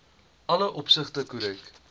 alle opsigte korrek